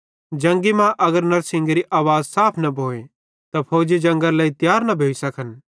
जंगी मां अगर नड़शिन्गेरी आवाज़ साफ न भोए त फौजी जंगरे लेइ तियार न भोइ सकन